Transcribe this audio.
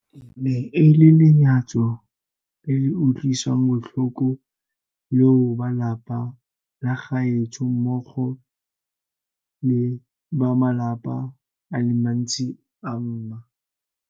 E ne e le lenyatso le le utlwisang botlhoko leo ba lelapa la gaetsho mmogo le ba malapa a le mantsi a ma.